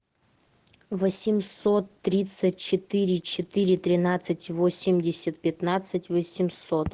восемьсот тридцать четыре четыре тринадцать восемьдесят пятнадцать восемьсот